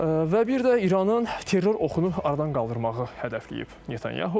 Və bir də İranın terror oxunu aradan qaldırmağı hədəfləyib Netanyahu.